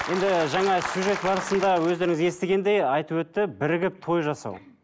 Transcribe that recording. енді жаңа сюжет барысында өздеріңіз естігендей айтып өтті бірігіп той жасау